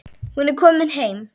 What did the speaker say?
Hún er komin heim.